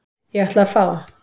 Ég ætla að fá.